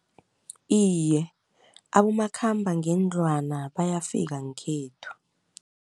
Iye abomakhambangendlwana bayafika ngekhethu.